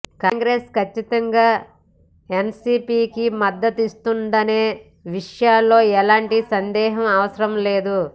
కాంగ్రెస్ ఖచ్చితంగా ఎన్సీపీకి మద్దతిస్తుందనే విషయంలో ఎలాంటి సందేహం అవసరం లేదు